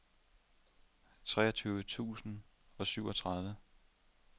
treogtyve tusind og syvogtredive